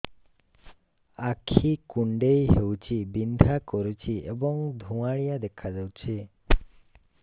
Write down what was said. ଆଖି କୁଂଡେଇ ହେଉଛି ବିଂଧା କରୁଛି ଏବଂ ଧୁଁଆଳିଆ ଦେଖାଯାଉଛି